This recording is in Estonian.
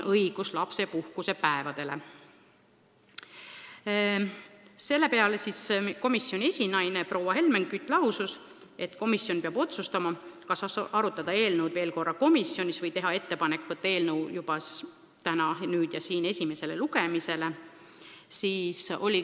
Selle peale komisjoni esinaine Helmen Kütt lausus, et komisjon peab otsustama, kas arutada eelnõu veel korra või teha kohe ettepanek võtta eelnõu esimesele lugemisele 13. juunil.